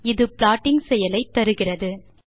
இது ப்ளாட்டிங் செயலை தருகிறது